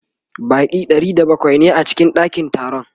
Baƙi Ɗari da bakwai ne a cikin ɗakin taron